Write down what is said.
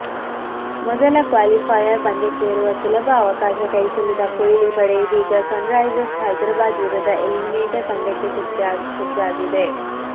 ಮೊದಲ ಕ್ವಾಲಿಫೈಯರ್ ಪಂದ್ಯಕ್ಕೇರುವ ಸುಲಭ ಅವಕಾಶ ಕೈಚೆಲ್ಲಿದ ಕೊಹ್ಲಿ ಪಡೆ ಇದೀಗ ಸನ್ರೈಸರ್ಸ್ ಹೈದರಾಬಾದ್ ವಿರುದ್ಧ ಎಲಿಮಿನೇಟರ್ ಪಂದ್ಯಕ್ಕೆ ಸಜ್ಜಾಗಿದೆ